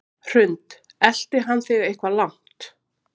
Hrund: Elti hann þig eitthvað langt?